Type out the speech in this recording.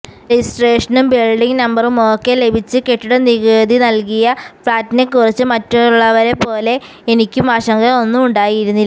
റെജിസ്ട്രേഷനും building നമ്പറുമൊക്കെ ലഭിച്ച് കെട്ടിടനികുതി നൽകിയ ഫ്ളാറ്റിനെക്കുറിച്ച് മറ്റുള്ളവരെപ്പോലെ എനിക്കും ആശങ്ക ഒന്നും ഉണ്ടായിരുന്നില്ല